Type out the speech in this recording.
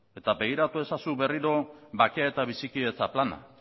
eta begiratu ezazu berriro bakea eta bizikidetza plana